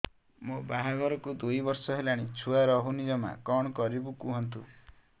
ମୋ ବାହାଘରକୁ ଦୁଇ ବର୍ଷ ହେଲାଣି ଛୁଆ ରହୁନି ଜମା କଣ କରିବୁ କୁହନ୍ତୁ